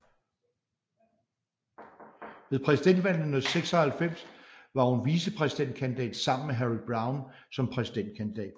Ved præsidentvalget i 1996 var hun vicepræsidentkandidat sammen med Harry Browne som præsidentkandidat